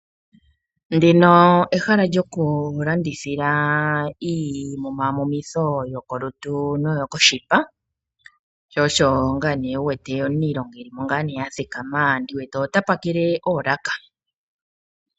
Ndino ehala lyokulandithila iimumamumitho yokolutu noyokoshipa. Omu na omuniilonga a thikama ta pakele oolaka.